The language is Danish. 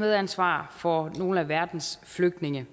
medansvar for nogle af verdens flygtninge